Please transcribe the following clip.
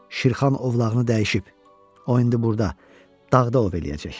Şirxan ovlağını dəyişib, o indi burda, dağda ov eləyəcək.